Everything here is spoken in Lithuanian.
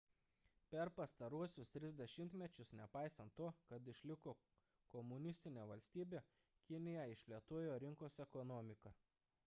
per pastaruosius tris dešimtmečius nepaisant to kad išliko komunistine valstybe kinija išplėtojo rinkos ekonomiką